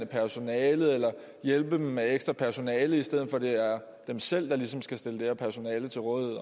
personalet eller hjælpe dem med ekstra personale i stedet for at det er dem selv der ligesom skal stille det her personale til rådighed